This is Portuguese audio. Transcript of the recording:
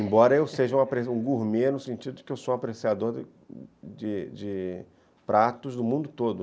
Embora eu seja um gourmet no sentido de de que eu sou um apreciador de pratos do mundo todo.